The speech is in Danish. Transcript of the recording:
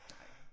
Nej